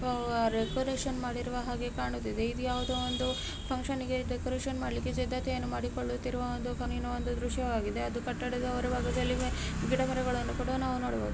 Decoration ಮಾಡಿರುವ ಹಾಗೆ ಕಾಣುತ್ತಿದೆ. ಇದು ಯಾವುದೋ ಒಂದು ಫಂಕ್ಷನ್ ಗೆ ಡೆಕೊರೇಷನ್ ಮಾಡ್ಲಿಕ್ಕೆ ಸಿದ್ಧತೆಯನ್ನು ಮಾಡಿಕೊಂಡಂತಿರುವ ಒಂದು ಒಂದು ದೃಶ್ಯವಾಗಿದೆ. ಅದು ಕಟ್ಟಡದ ಹೊರಭಾಗದಲ್ಲಿ ಗಿಡ ಮರಗಳನ್ನೂ ಕೂಡಾ ನಾವು ನೋಡಬಹುದು.